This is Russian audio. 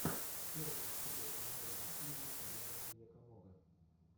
первая серия эмэйзин изи оригами якомога